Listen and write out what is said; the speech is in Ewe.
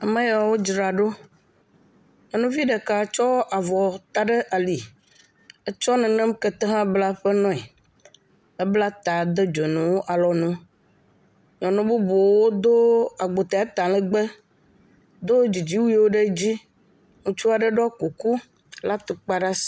Ame ya wo dzra ɖo. Nyɔnuvi ɖeka tsɔ avɔ ta ɖe ali. Etsɔ nenem kete hã bla ƒe noe. Ebla ta do dzonu alɔnu. Nyɔnu bubuwo do agbote talegbe. Do dzidziwuiwo ɖe dzi. Ŋutsua ɖe ɖɔ kuku kple atukpa ɖe asi.